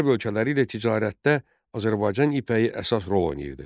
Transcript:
Qərb ölkələri ilə ticarətdə Azərbaycan ipəyi əsas rol oynayırdı.